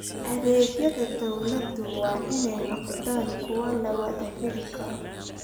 Adeegyada dawladdu waa in ay noqdaan kuwo la wada heli karo.